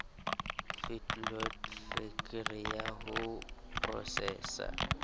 feedlot fektri ya ho prosesa